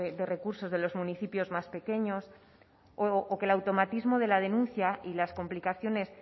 de recursos de los municipios más pequeños o que el automatismo de la denuncia y las complicaciones